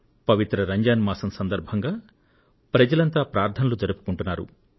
పవిత్ర రంజాన్ మాసం సందర్భంగా ప్రజలంతా ప్రార్థనలు జరుపుకుంటున్నారు